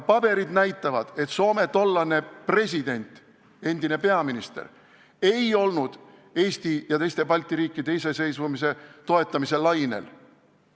Paberid näitavad, et Soome tollane president, endine peaminister, ei olnud Eesti ja teiste Balti riikide iseseisvumise toetamise lainel.